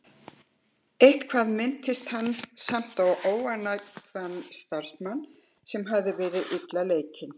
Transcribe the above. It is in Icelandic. Eitthvað minntist hann samt á óánægðan starfsmann, sem hafði verið illa leikinn.